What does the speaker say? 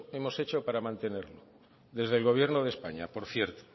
hemos hecho para mantenerlo desde el gobierno de españa por cierto